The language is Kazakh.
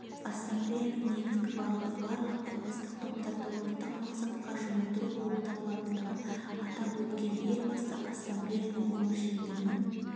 ассамблеяның негізгі бағыты барлық этностық топтарды ортақ мақсатқа жұмылдыру болып табылатындығын атап өткен елбасы ассамблеяның өміршеңдігінің